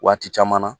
Waati caman na